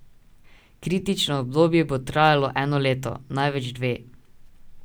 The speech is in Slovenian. Kritično obdobje bo trajalo eno leto, največ dve.